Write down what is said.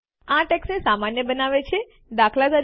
આ ટેક્સ્ટને સામાન્ય બનાવે છે દાત